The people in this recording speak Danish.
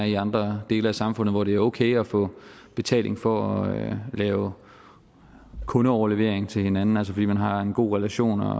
i andre dele af samfundet hvor det er okay at få betaling for at lave kundeoverlevering til hinanden fordi man har en god relation og